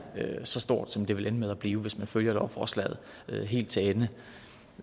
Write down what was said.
så stort som det vil ende med at blive hvis man følger lovforslaget helt til ende